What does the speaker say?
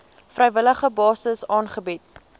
vrywillige basis aangebied